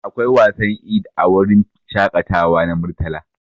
Akwai wasan Eid a wurin shakatawa na Murtala.